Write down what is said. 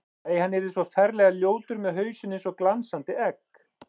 Nei, hann yrði svo ferlega ljótur með hausinn eins og glansandi egg.